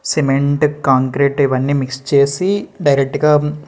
cement concrete ఇవన్నీ mix చేసి direct గా --